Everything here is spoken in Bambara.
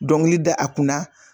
Dɔnkili da a kunna